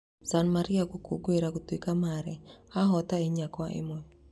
San Marino gũkũngũira gũtuĩka marĩ ahoote inya Kwa ĩmwe